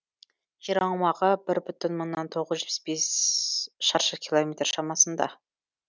жер аумағы бір бүтін мыңнан тоғыз жүз жетпіс бес шаршы километр шамасында